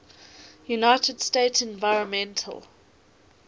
united states environmental